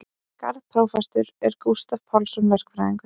Garðprófastur er Gústav Pálsson verkfræðingur.